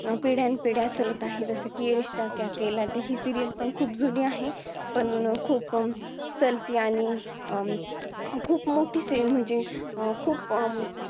पिढ्यानं पिढ्या चालत आहे जसं की ये रिश्ता क्या केहलाता ही serial खूप जुनी पण अं खूप चालती आणि अं खूप मोठी च आहे म्हणजे अं खूप